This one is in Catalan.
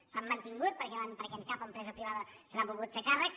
s’han mantingut perquè cap empresa privada se n’ha volgut fer càrrec